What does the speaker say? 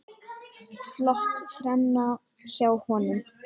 Flott þrenna hjá honum.